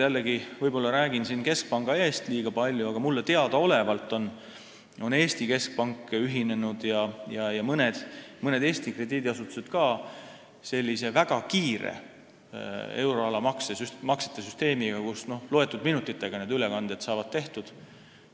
Veel kord, ma räägin siin võib-olla jällegi liiga palju keskpanga eest, aga minu teada on Eesti keskpank ja ka mõned Eesti krediidiasutused ühinenud sellise väga kiire euroala maksete süsteemiga, kus ülekanded saavad tehtud mõne minutiga.